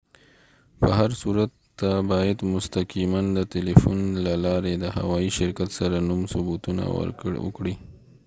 په هر صورت ته باید مستقیما د تلیفون له لارې د هوایی شرکت سره نوم ثبتونه وکړې